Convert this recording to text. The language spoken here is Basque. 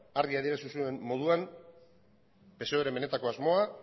argi adierazi zuen moduan psoeren benetako asmoa